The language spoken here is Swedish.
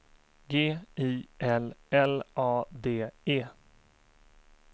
G I L L A D E